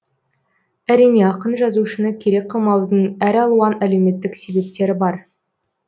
әрине ақын жазушыны керек қылмаудың әр алуан әлеуметтік себептері бар